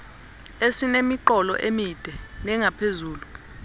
esinemiqolo emide nengaphezulu